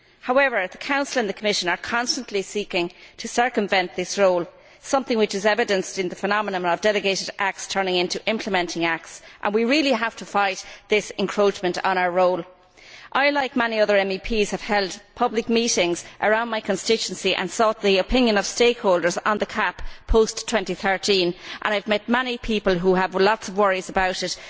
However, the Council and the Commission are constantly seeking to circumvent this role, something which is evidenced in the phenomenon of delegated acts turning into implementing acts, and we really have to fight this encroachment on our role. I, like many other MEPs, have held public meetings around my constituency and sought the opinion of stakeholders on the CAP post 2013 and I have met many people who have lots of worries about it.